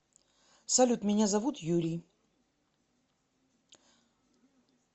салют меня зовут юрий